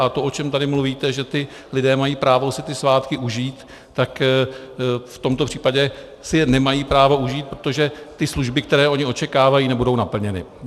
A to, o čem tady mluvíte, že ti lidé mají právo si ty svátky užít, tak v tomto případě si je nemají právo užít, protože ty služby, které oni očekávají, nebudou naplněny.